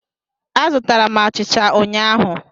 Azụtara m achicha ụnyahụ.